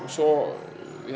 svo